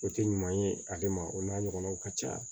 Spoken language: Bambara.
O tɛ ɲuman ye ale ma o n'a ɲɔgɔnaw ka ca